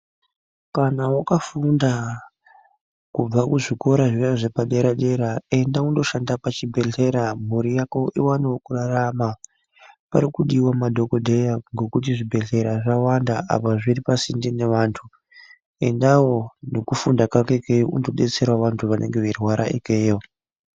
Kana wakafunda kubva kuzvikora zviya zvepadera dera enda undoshanda pachibhedhlera mhuri yako iwanewo kurarama parikudiwa madhokodheya ngekuti zvibhedhlera zvawanda apa zviri pasinde nevantu endawo nekufunda kako ikeyo undodetserawo vantu vanenge veirwara ikeyo.